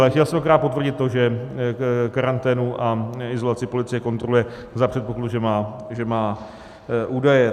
Ale chtěl jsem akorát potvrdit to, že karanténu a izolaci policie kontroluje za předpokladu, že má údaje.